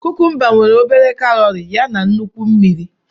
Kukumba nwere obere kalori yana nnukwu mmiri.